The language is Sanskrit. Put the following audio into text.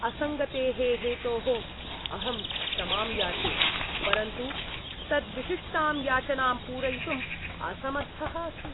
असङ्गतेः हेतोः अहं क्षमां याचे। परन्तु तत् विशिष्टां याचनां पूरयितुं असमर्थः अस्मि।